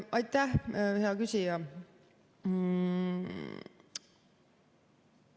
Aitäh, hea küsija!